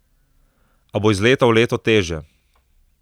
A bo iz leta v leto težje.